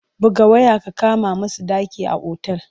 Buga waya ka kama musu ɗaki a otal!